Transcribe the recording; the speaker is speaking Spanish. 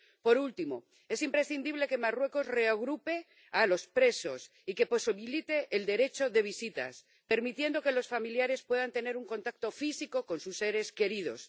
Por último, es imprescindible que Marruecos reagrupe a los presos y que posibilite el derecho de visitas, permitiendo que los familiares puedan tener un contacto físico con sus seres queridos.